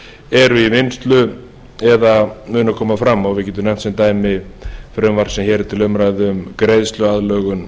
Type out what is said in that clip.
eru í vinnslu eða munu koma fram við getum nefnt sem dæmi frumvarp sem hér er til umræðu um greiðsluaðlögun